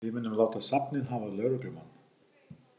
Við munum láta safnið hafa lögreglumann.